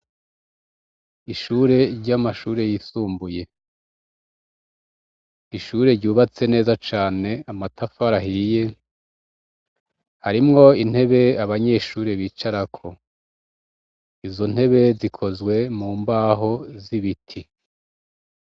Ishure ry'amashure yisumbuye, ishure ryubatswe neza cane, amatafari ahiye, harimwo intebe abanyeshure bicarako, izo ntebe zikozwe mu mbaho z'ibiti.